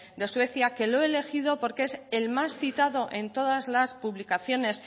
de suecia que lo he elegido porque es el más citado en todas las publicaciones